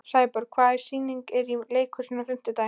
Sæborg, hvaða sýningar eru í leikhúsinu á fimmtudaginn?